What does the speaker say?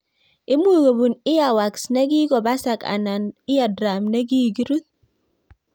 Imuch kobun earwax ne gigobasak ana eardrum nigigirut